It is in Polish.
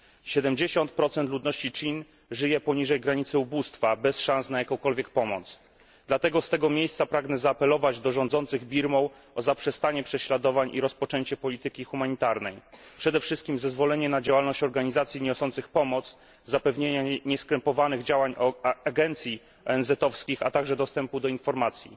70 ludności Czin żyje poniżej granicy ubóstwa, bez szans na jakąkolwiek pomoc. Dlatego z tego miejsca pragnę zaapelować do rządzących Birmą o zaprzestanie prześladowań i rozpoczęcie polityki humanitarnej, przede wszystkim zezwolenie na działalność organizacji niosących pomoc, zapewnienie nieskrępowanych działań agencji ONZ, a także dostępu do informacji.